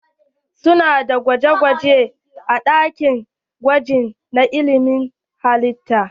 Su na da gwaje gwaje a ɗakin gwaji na ilmin halitta.